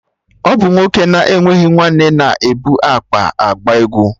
Ọ bụ nwoke na-enweghị nwanne na ebu akpa agba egwu